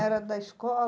Era da